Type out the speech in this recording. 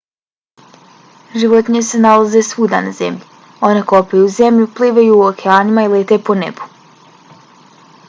životinje se nalaze svuda na zemlji. one kopaju zemlju plivaju u okeanima i lete po nebu